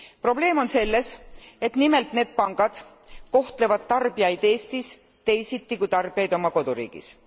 Probleem on selles, et nimelt need pangad kohtlevad tarbijaid Eestis teisiti kui tarbijaid oma koduriigis.